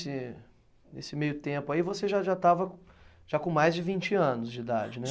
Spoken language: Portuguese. Esse, nesse meio tempo aí, você já já estava já com mais de vinte anos de idade, né?